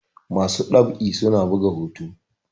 masu ɗab'i suna buga hoto